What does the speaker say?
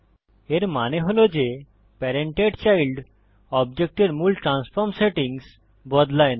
এর মানে হল যে প্যারেন্টেড চাইল্ড অবজেক্ট এর মূল ট্রান্সফর্ম সেটিংস বদলায় না